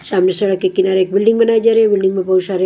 सामने सड़क के किनारे एक बिल्डिंग बनाई जा रही है बिल्डिंग में बहुत सारे--